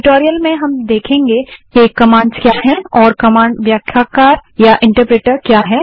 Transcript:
इस ट्यूटोरियल में हम देखेंगे कि कमांड्स क्या हैं और कमांड व्याख्याकार या इंटरप्रेटर क्या है